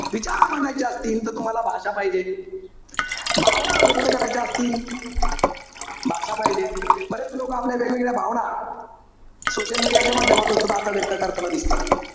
विचार मांडायचे असतील तर तुम्हाला भाषा पाहिजे. भावना व्यक्त करायच्या असतील, भाषा पाहिजे. बरेच लोकं आपल्याला वेगवेगळ्या भावना, social media च्या माध्यमातून सुद्धा आता व्यक्त करताना दिसतात.